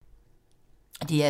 DR2